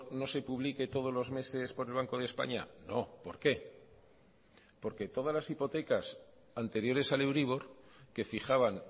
no se publique todos los meses por el banco de españa no por qué porque todas las hipotecas anteriores al euribor que fijaban